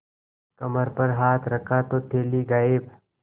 कमर पर हाथ रखा तो थैली गायब